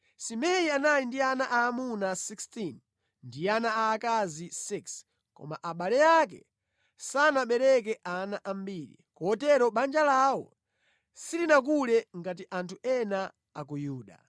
Simei anali ndi ana aamuna 16 ndi ana aakazi 6, koma abale ake sanabereke ana ambiri; kotero banja lawo silinakule ngati anthu ena a ku Yuda.